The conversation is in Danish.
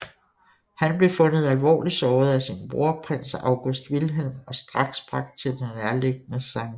Han blev fundet alvorligt såret af sin bror Prins August Wilhelm og straks bragt til det nærliggende St